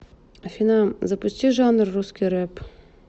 афина запусти жанр русский реп